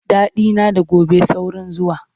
Daɗina da gobe saurin zuwa.